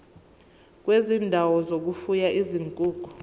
kwezindawo zokufuya izinkukhu